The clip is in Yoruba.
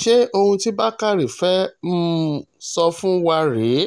ṣe ohun tí bàkàrẹ fẹ́ẹ́ um sọ fún wa rèé